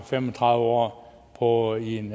fem og tredive år år i en